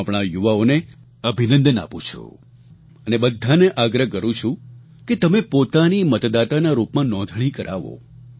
હું આપણા આ યુવાઓને અભિનંદન આપું છું અને બધાને આગ્રહ કરું છું કે તમે પોતાની મતદાતાના રૂપમાં નોંધણી કરાવો